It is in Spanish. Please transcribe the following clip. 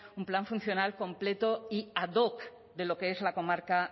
un plan funcional completo y ad hoc de lo que es la comarca